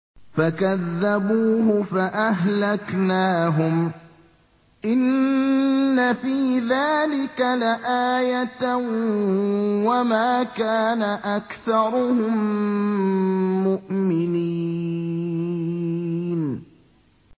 فَكَذَّبُوهُ فَأَهْلَكْنَاهُمْ ۗ إِنَّ فِي ذَٰلِكَ لَآيَةً ۖ وَمَا كَانَ أَكْثَرُهُم مُّؤْمِنِينَ